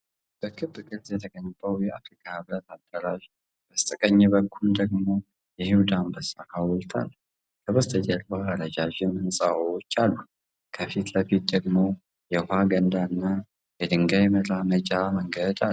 በክብ ቅርጽ የተገነባው የአፍሪካ ህብረት አዳራሽ በስተቀኝ በኩል ደግሞ የይሁዳ አንበሳ ሐውልት አለ። ከበስተጀርባ ረዣዥም ሕንፃዎች አሉ። ከፊት ለፊት ደግሞ የውኃ ገንዳና የድንጋይ መራመጃ መንገድ ነው።